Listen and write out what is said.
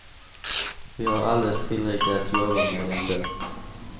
Vi har alldeles tillräckligt att jobba med ändå.